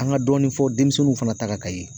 An ka dɔɔni fɔ denmisɛnninw fana ta kan ka ye